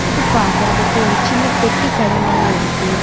இது பாக்கறதுக்கு ஒரு சின்ன பெட்டி கட மாரி இருக்கு.